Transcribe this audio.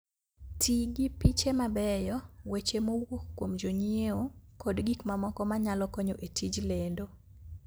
Ti gi piche mabeyo, weche mowuok kuom jonyiewo, kod gik mamoko ma nyalo konyo e tij lendo